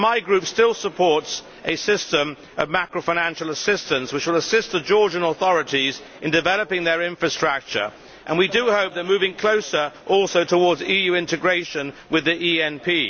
My group still supports a system of macro financial assistance, which will assist the Georgian authorities in developing their infrastructure and we do hope they are moving closer also towards EU integration with the ENP.